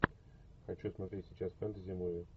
хочу смотреть сейчас фэнтези муви